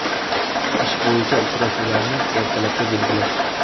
Ish bo‘yicha uchrashuvlarni ertalabga belgilash.